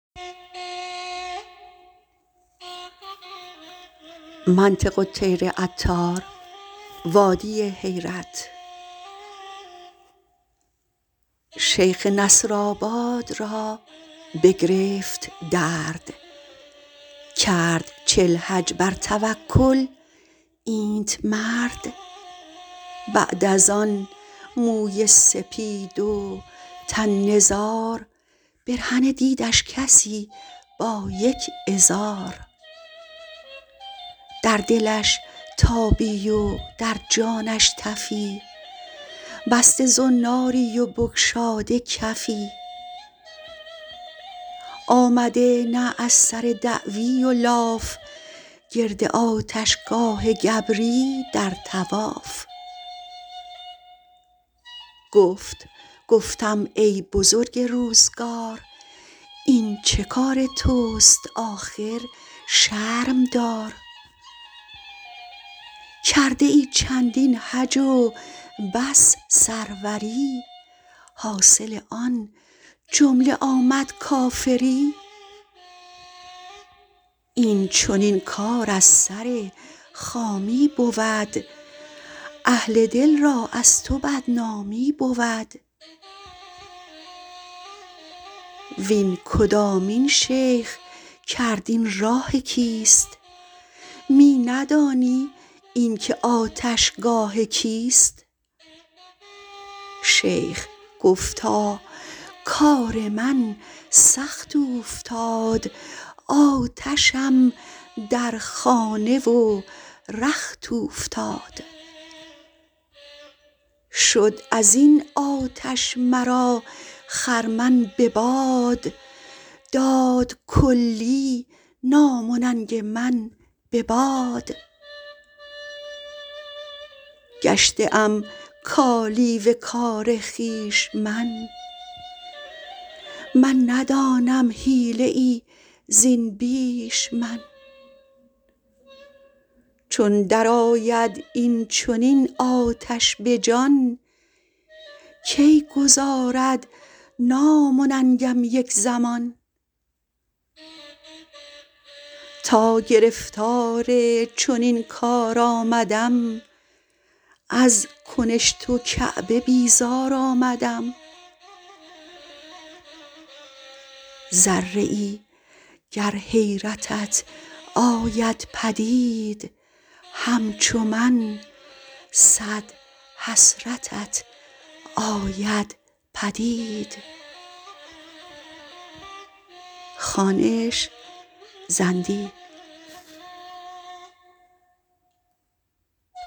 شیخ نصرآباد را بگرفت درد کرد چل حج بر توکل اینت مرد بعد از آن موی سپید و تن نزار برهنه دیدش کسی با یک از ار دل دلش تابی و در جانش تفی بسته زناری و بگشاده کفی آمده نه از سر دعوی و لاف گرد آتش گاه گبری در طواف گفت گفتم ای بزرگ روزگار این چه کار تست آخر شرم دار کرده ای چندین حج و بس سروری حاصل آن جمله آمد کافری این چنین کار از سر خامی بود اهل دل را از تو بدنامی بود وین کدامین شیخ کرد این راه کیست می ندانی این که آتش گاه کیست شیخ گفتا کار من سخت اوفتاد آتشم در خانه و رخت اوفتاد شد ازین آتش مرا خرمن بباد داد کلی نام و ننگ من بباد گشته ای کالیو کار خویش من من ندانم حیله ای زین بیش من چون درآید این چنین آتش به جان کی گذارد نام و ننگم یک زمان تا گرفتار چنین کار آمدم ازکنشت و کعبه بی زار آمدم ذره ای گر حیرتت آید پدید همچو من صد حسرتت آید پدید